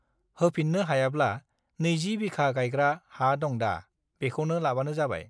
होफिन्नो हायाब्ला नैजि बिखा गाइग्रा हा दंदा बेखौनो लाबानो जाबाय